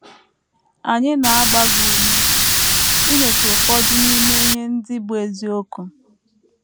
Anyị na - agba gị ume inyocha ụfọdụ n’ime ihe ndị bụ́ eziokwu.